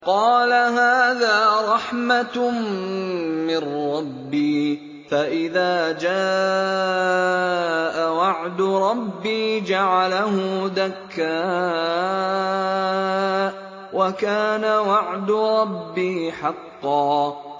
قَالَ هَٰذَا رَحْمَةٌ مِّن رَّبِّي ۖ فَإِذَا جَاءَ وَعْدُ رَبِّي جَعَلَهُ دَكَّاءَ ۖ وَكَانَ وَعْدُ رَبِّي حَقًّا